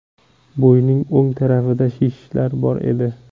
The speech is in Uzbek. Bo‘ynining o‘ng tarafida shishlar bor edi.